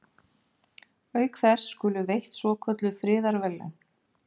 Auk þess skulu veitt svokölluð friðarverðlaun.